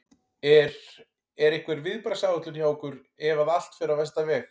Er, er einhver viðbragðsáætlun hjá ykkur ef að allt fer á versta veg?